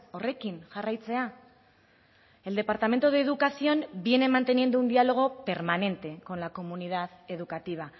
horrekin jarraitzea el departamento de educación viene manteniendo un diálogo permanente con la comunidad educativa